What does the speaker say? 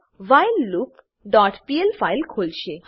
મા whileloopપીએલ ફાઈલ ખોલશે